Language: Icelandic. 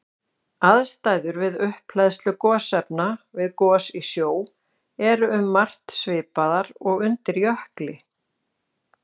Aðstæður við upphleðslu gosefna við gos í sjó eru um margt svipaðar og undir jökli.